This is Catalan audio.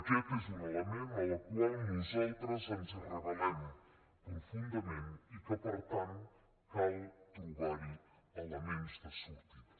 aquest és un element contra el qual nosaltres ens rebel·ment i que per tant cal trobar hi elements de sortida